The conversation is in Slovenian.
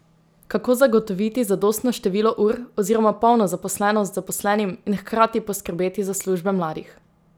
Kako zagotoviti zadostno število ur oziroma polno zaposlenost zaposlenim in hkrati poskrbeti za službe mladih?